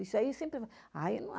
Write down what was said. Isso aí sempre falavam.